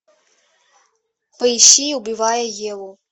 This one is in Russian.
поищи убивая еву